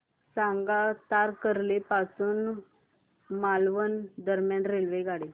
सांगा तारकर्ली पासून मालवण दरम्यान रेल्वेगाडी